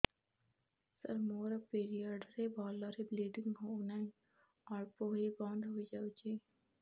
ସାର ମୋର ପିରିଅଡ଼ ରେ ଭଲରେ ବ୍ଲିଡ଼ିଙ୍ଗ ହଉନାହିଁ ଅଳ୍ପ ହୋଇ ବନ୍ଦ ହୋଇଯାଉଛି